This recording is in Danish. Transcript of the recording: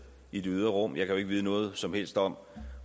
i det ydre rum jeg kan jo ikke vide noget som helst om